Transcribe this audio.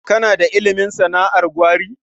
Kana da ilimin sana'ar gwari?